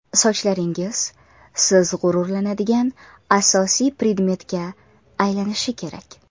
Sochlaringiz siz g‘ururlanadigan asosiy predmetga aylanishi kerak.